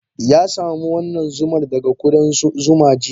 Ya samu wannan zumar daga kudan zuma jiya.